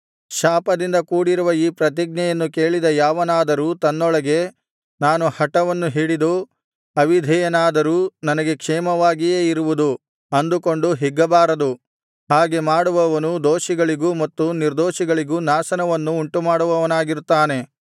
ಶಾಪದಿಂದ ಕೂಡಿರುವ ಈ ಪ್ರತಿಜ್ಞೆಯನ್ನು ಕೇಳಿದ ಯಾವನಾದರೂ ತನ್ನೊಳಗೆ ನಾನು ಹಟವನ್ನು ಹಿಡಿದು ಅವಿಧೇಯನಾದರೂ ನನಗೆ ಕ್ಷೇಮವಾಗಿಯೇ ಇರುವುದು ಅಂದುಕೊಂಡು ಹಿಗ್ಗಬಾರದು ಹಾಗೆ ಮಾಡುವವನು ದೋಷಿಗಳಿಗೂ ಮತ್ತು ನಿರ್ದೋಷಿಗಳಿಗೂ ನಾಶನವನ್ನು ಉಂಟುಮಾಡುವವನಾಗಿರುತ್ತಾನೆ